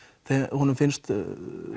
honum finnst